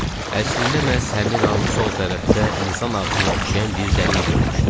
Əslində məhz həmin an sol tərəfdə insan ağzına oxşayan bir dəlik görmüşdüm.